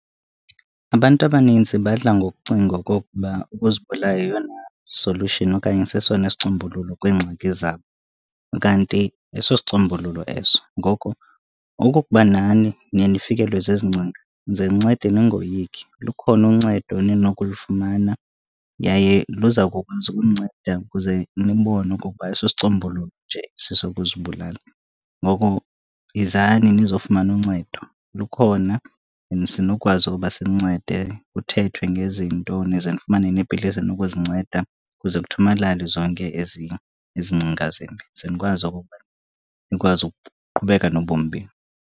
Abantu abaninzi badla ngokucinga okokuba ukuzibulala yeyona solution okanye sesona sicombululo kwingxaki zabo. Kanti ayisosicombululo eso ngoko okokuba nani niye nifikelwe zezi ngcinga, ze nincede ningoyiki lukhona uncedo eninokulifumana. Yaye luza kukwazi ukuninceda kuze nibone okokuba ayisosicombululo nje esi sokuzibulala. Ngoko, yizani nizofumana uncedo, lukhona. And sinokwazi ukuba sinincede kuthethwe ngezinto nize nifumane neepilisi eninokuzinceda, kuze kuthomalale zonke ezi ngcinga zimbi ze nikwazi okokuba nikwazi ukuqhubeka nobomi benu.